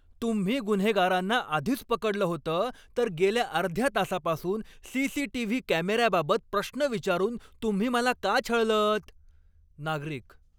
तुम्ही गुन्हेगारांना आधीच पकडलं होतं, तर गेल्या अर्ध्या तासापासून सी.सी.टी.व्ही. कॅमेऱ्याबाबत प्रश्न विचारून तुम्ही मला का छळलंत? नागरिक